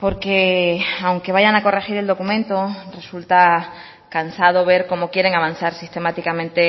porque aunque vayan a corregir el documento resulta cansado ver cómo quieren avanzar sistemáticamente